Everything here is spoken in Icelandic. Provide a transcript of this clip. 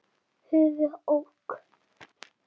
höf. ók.